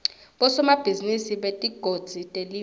bosomabhizinisi betigodzi telive